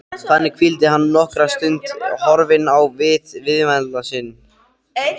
Þannig hvíldi hann nokkra stund horfinn á vit viðmælanda síns.